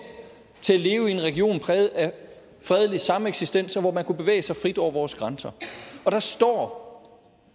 til at leve i en region præget af fredelig sameksistens hvor man kunne bevæge sig frit over vores grænser og der står